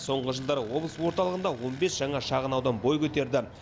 соңғы жылдары облыс орталығында он бес жаңа шағын аудан бой көтерді